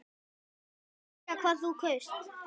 Má spyrja hvað þú kaust?